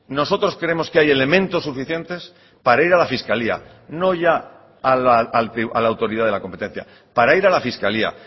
nosotros creemos que hay elementos suficientes para ir a la fiscalía no ya a la autoridad de la competencia para ir a la fiscalía